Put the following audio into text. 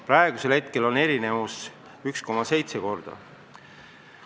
Praegu erinevad need 1,7 korda.